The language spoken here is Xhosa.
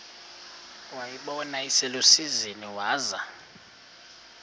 wayibona iselusizini waza